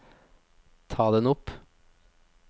ta den opp